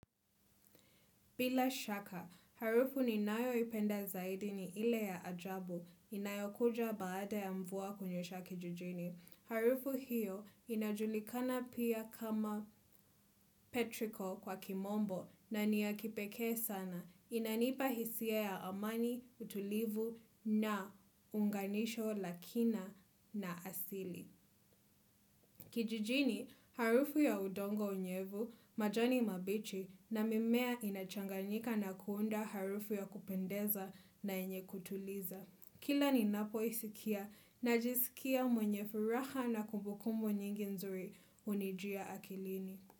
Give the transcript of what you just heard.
Bila shaka, harufu ninayoipenda zaidi ni ile ya ajabu, inayokuja baada ya mvua kunyesha kijijini. Harufu hiyo inajulikana pia kama petriko kwa kimombo naniya kipekee sana. Inanipa hisia ya amani, utulivu na unganisho la kina na asili. Kijijini harufu ya udongo unyevu, majani mabichi na mimea inachanganyika na kuunda harufu ya kupendeza na yenye kutuliza. Kila ninapoisikia najisikia mwenye furaha na kumbukumbu nyingi nzuri hunijia akilini.